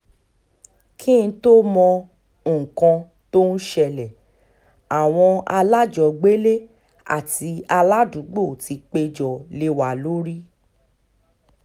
kí n tóó mọ nǹkan tó ń ṣẹlẹ̀ àwọn alájọgbélé àti aládùúgbò ti péjọ lé wa lórí